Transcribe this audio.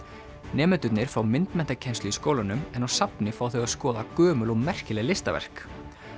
nemendurnir fá myndmenntakennslu í skólanum en á safni fá þau að skoða gömul og merkileg listaverk